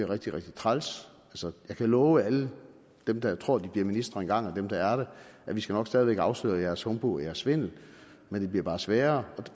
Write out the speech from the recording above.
rigtig rigtig træls jeg kan love alle dem der tror at de bliver ministre en gang og dem der er det at vi skal nok stadig væk afsløre deres humbug og deres svindel men det bliver bare sværere og